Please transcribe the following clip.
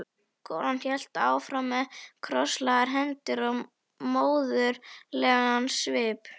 Konan hélt áfram með krosslagðar hendur og móðurlegan svip.